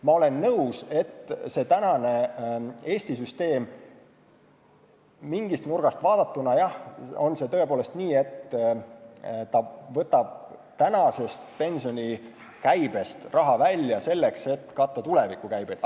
Ma olen nõus, et Eesti süsteem mingist nurgast vaadatuna tõepoolest võtab praegusest pensionikäibest raha välja, selleks et katta tuleviku käivet.